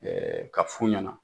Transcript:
ka f'u ɲɛna